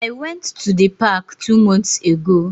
I went to the park two months ago.